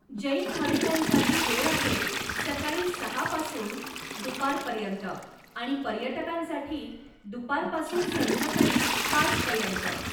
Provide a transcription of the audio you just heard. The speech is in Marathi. जैन भाविकांसाठी वेळ आहे सकाळी सहा पासून दुपारपर्यंत आणि पर्यटकांसाठी दुपारपासून संध्याकाळी पाच पर्यंत.